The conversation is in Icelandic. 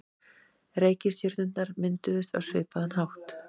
Reikistjörnurnar mynduðust á svipaðan hátt.